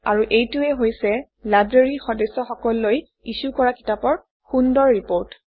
আৰু এইটোৱেই হৈছে লাইব্ৰেৰীৰ সদস্যসকললৈ ইছ্যু কৰা কিতাপৰ সুন্দৰ ৰিপৰ্ট